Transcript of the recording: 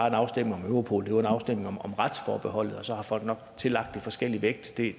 en afstemning om europol men en afstemning om retsforbeholdet og så har folk nok tillagt det forskellig vægt det